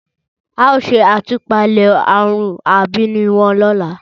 ao se atupale arun abiini won lola.